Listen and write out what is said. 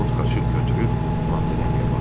Ovod xaçı götürüb Montanelliyə baxdı.